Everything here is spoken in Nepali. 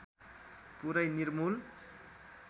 पुरै निर्मुल